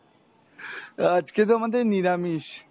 আজকে তো আমাদের নিরামিষ।